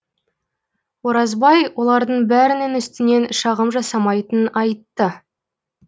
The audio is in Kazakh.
оразбай олардың бәрінің үстінен шағым жасамайтынын айтты